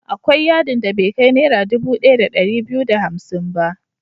Akwai yadin da bai kai Naira dubu ɗaya da ɗari biyu da hamsin ba.